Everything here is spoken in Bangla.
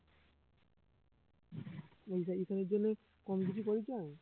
ঈশানী ঈশানীর জন্য কম কিছু করেছি আমি